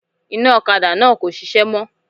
Iná òkadá náà kò sisé mó